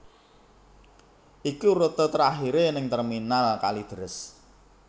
Iki rute terakhire ning Terminal Kalideres